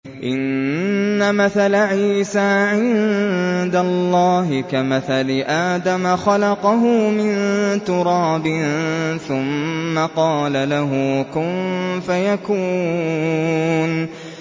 إِنَّ مَثَلَ عِيسَىٰ عِندَ اللَّهِ كَمَثَلِ آدَمَ ۖ خَلَقَهُ مِن تُرَابٍ ثُمَّ قَالَ لَهُ كُن فَيَكُونُ